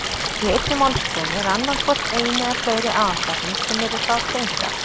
Í einni málsgrein er annað hvort ein eða fleiri aðalsetning sem eru þá tengdar.